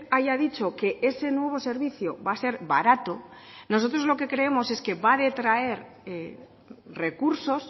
haya dicho que ese nuevo servicio va a ser barato nosotros lo que creemos es que va a detraer recursos